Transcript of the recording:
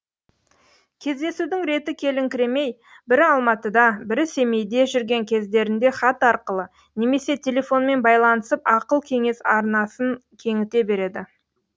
кездесудің реті келіңкіремей бірі алматыда бірі семейде жүрген кездерінде хат арқылы немесе телефонмен байланысып ақыл кеңес арнасын кеңіте береді